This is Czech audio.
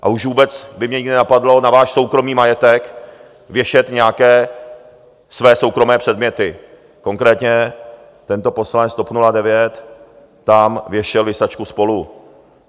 A už vůbec by mě nikdy nenapadlo na váš soukromý majetek věšet nějaké své soukromé předměty, konkrétně tento poslanec TOP 09 tam věšel visačku SPOLU.